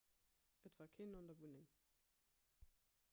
et war keen an der wunneng